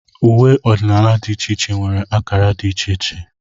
Uwe ọdịnala dị iche iche nwere akara dị iche iche